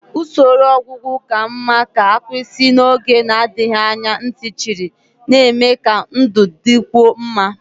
Usoro ọgwụgwọ ka mma ga-akwụsị n'oge na-adịghị anya ntị chiri, na-eme ka ndụ dịkwuo mma.